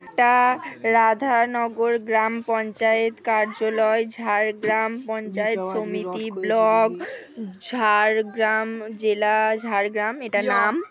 এটা-আ রাধানগর গ্রাম পঞ্চায়েত কার্যলয় ঝারগ্রাম পঞ্চায়েত সমিতি ব্লক ঝার-রগ্রাম জেলা ঝাড়গ্রাম এটা নাম--